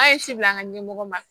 An ye seli an ka ɲɛmɔgɔ ma